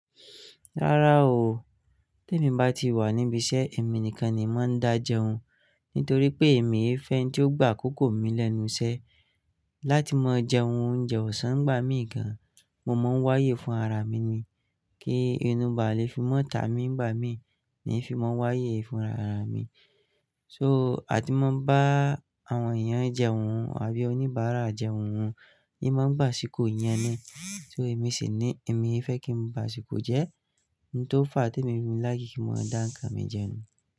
Rárá o, tí èmi bá ti wà níbi iṣẹ́, èmi nìkan ni màá ń dá jẹun. Nítorí pé èmi e fẹ́ ntí ó gbà akókó mi lẹ́nu iṣẹ́ láti máa jẹ ohun oúnjẹ ọ̀sán nigbà mí gan. Mo máa ń wáyé fún ara mi ni kí inú bá le fi mọ́ ta mi ń gbà mí ni fi máa ń wáyé fún ara mi. So, àti máa ń bá àwọn èèyàn jẹun àbí oníbàárà jẹun wọn, èyí máa ń bà síkò yẹn ni. So èmi sì ní èmi fẹ́ kí ń bà síkò jẹ ohun to fà tí èmi fi like ki maa dá ǹkan mi jẹun.